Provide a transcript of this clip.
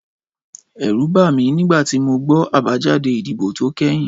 Ẹ̀rù bà mí nígbà tí mo gbọ́ àbájáde ìdìbò tó kẹ́yìn